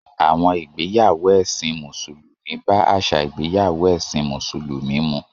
Àwọn ìgbéyàwó ẹ̀sìn Mùsùlùmí bá àṣà ìgbéyàwó ẹ̀sìn Mùsùlùmí mu.